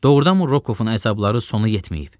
Doğrudanmı Rokovun əzabları sonu yetməyib?